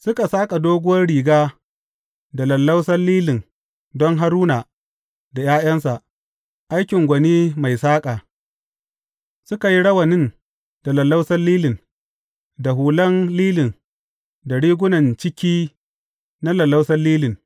Suka saƙa doguwar riga da lallausan lilin don Haruna da ’ya’yansa, aikin gwani mai saƙa, suka yi rawanin da lallausan lilin, da hulan lilin da rigunan ciki na lallausan lilin.